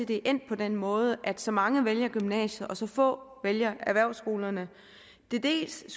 det er endt på den måde at så mange vælger gymnasiet og så få vælger erhvervsskolerne dels er